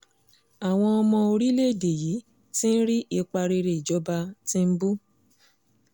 àwọn ọmọ orílẹ̀‐èdè yìí ti ń rí ipa rere ìjọba tìǹbù